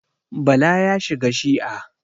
Bala ya shiga shi'a.